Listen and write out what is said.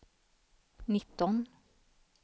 nitton